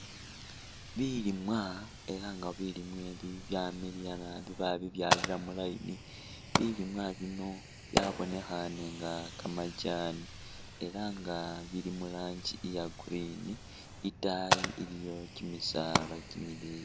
Bilimwa ela nga bilimwa bi byamiliya nabi babibyalila mu line bilimwa bino byabonekhane nga kamajani ela nga bili muraanji iya green itayi iliyo kyimisaala kyimileyi .